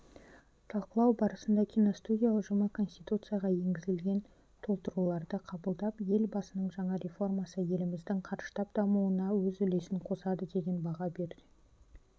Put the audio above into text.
талқылау барысында киностудия ұжымы конституцияға енгізілген толтыруларды қабылдап елбасының жаңа реформасы еліміздің қарыштап дамуына өз үлесін қосады деген баға берді